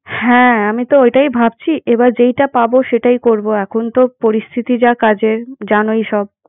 হ্যাঁ, আমি তো ওটাই ভাবছি। এবার যেইটা পাবো সেটাই করবো। এখন তো পরিস্থিতি যা কাজের জানোই সব।